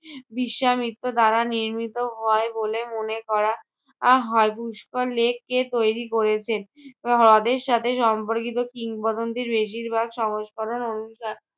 বিশ্বামিত্র দ্বারা নির্মিত হয় বলে মনে করা আহ হয়। পুষ্কর lake কে তৈরী করেছেন? হ্রদের সাথে সম্পর্কিত কিংবদন্তির বেশির ভাগ সংস্করণ অনুসা~